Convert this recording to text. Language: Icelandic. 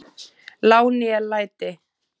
lá né læti